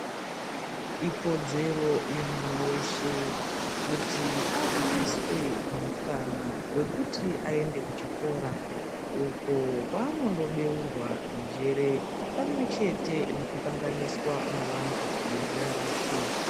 Ikodzero yemwana weshe kuti awaniswe mukana wekuti aende kuchikora uko kwanondobeurwa njere pamwechete nekuhlanganiswa nevantu vezera rake.